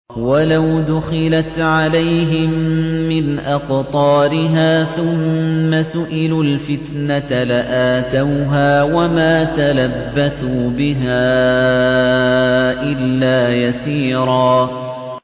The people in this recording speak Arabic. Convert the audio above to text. وَلَوْ دُخِلَتْ عَلَيْهِم مِّنْ أَقْطَارِهَا ثُمَّ سُئِلُوا الْفِتْنَةَ لَآتَوْهَا وَمَا تَلَبَّثُوا بِهَا إِلَّا يَسِيرًا